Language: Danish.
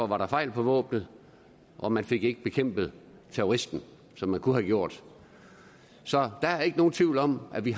var fejl på våbnet og man fik ikke bekæmpet terroristen som man kunne have gjort så der er ikke nogen tvivl om at vi